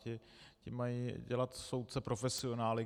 Ti mají dělat soudce profesionály.